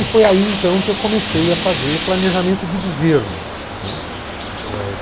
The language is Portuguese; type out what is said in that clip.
E foi aí, então, que eu comecei a fazer planejamento de governo, não é. É